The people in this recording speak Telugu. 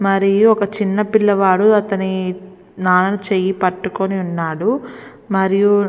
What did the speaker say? మరియు ఒక చిన్న పిల్లవాడు అతని నాన్న చేయి పట్టుకుని ఉన్నాడు. మరియు --